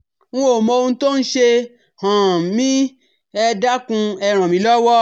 N ò mọ ohun tó ń ṣe um mí ẹ dákun ẹ ràn mí lọ́wọ́